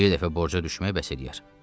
Bir dəfə borca düşmək bəs eləyər.